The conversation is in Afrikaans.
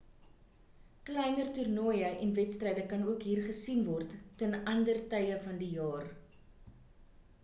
kleiner toernooie en wedstryde kan ook hier gesien word ten ander tye van die jaar